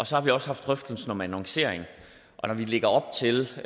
så har vi også haft drøftelsen om annoncering og når vi lægger op til